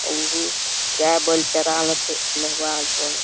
अउ या बल चरा नहवा धोवे ला।